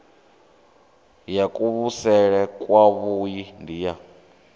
ya kuvhusele kwavhui ndi ya